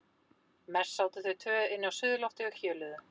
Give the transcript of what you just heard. Mest sátu þau tvö inni á suðurlofti og hjöluðu.